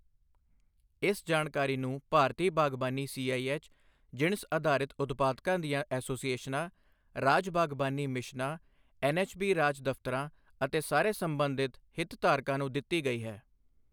ਇਸ ਜਾਣਕਾਰੀ ਨੂੰ ਭਾਰਤੀ ਬਾਗਬਾਨੀ ਸੀਆਈਐੱਚ, ਜਿਣਸ ਅਧਾਰਿਤ ਉਤਪਾਦਕਾਂ ਦੀਆਂ ਐਸੋਸੀਏਸ਼ਨਾਂ, ਰਾਜ ਬਾਗਬਾਨੀ ਮਿਸ਼ਨਾਂ, ਐੱਨਐੱਚਬੀ ਰਾਜ ਦਫ਼ਤਰਾਂ ਅਤੇ ਸਾਰੇ ਸਬੰਧਿਤ ਹਿਤਧਾਰਕਾਂ ਨੂੰ ਦਿੱਤੀ ਗਈ ਹੈ।